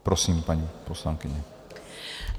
Prosím, paní poslankyně.